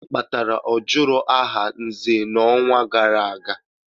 Gịnị kpatara ọ jụrụ aha Nze n'ọnwa gara aga?